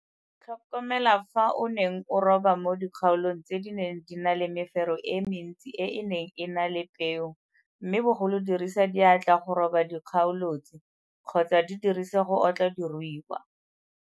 Setshwantsho sa 3 - Tlhokomela fa o neng o roba mo dikgaolong tse di neng di na le mefero e mentsi e e neng e na le peo mme bogolo dirisa diatla go roba dikgaolo tse kgotsa di dirise go otla diruiwa.